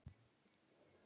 ljúf skylda.